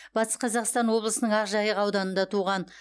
батыс қазақстан облысының ақжайық ауданында туған